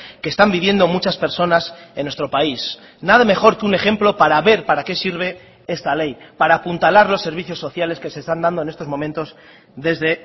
que están viviendo muchas personas en nuestro país nada mejor que un ejemplo para ver para qué sirve esta ley para apuntalar los servicios sociales que se están dando en estos momentos desde